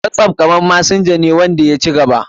Whatsapp kamar messenger ne da ya ci gaba.